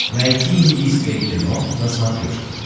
найти индийское кино на смотрешке